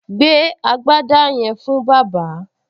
Gbé agbádá yẹn fún bàbá!